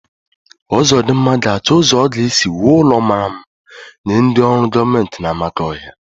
Uzodimma ga-achọ ụzọ ọ ga-esi wuo ụlọ mmara mma nye ndị ọrụ gọọmenti n'Amakọhia.